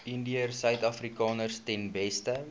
indiërsuidafrikaners ten beste